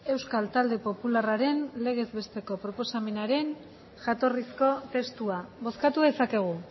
euskal talde popularraren legez besteko proposamenaren jatorrizko testua bozkatu dezakegu